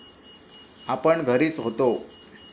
आपण घरीच होतो.